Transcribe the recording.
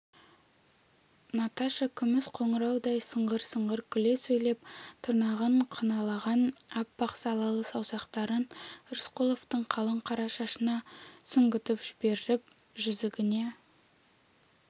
наташа күміс қоңыраудай сыңғыр-сыңғыр күле сөйлеп тырнағын қыналаған аппақ салалы саусақтарын рысқұловтың қалың қара шашына сүңгітіп жіберіп жүзігіне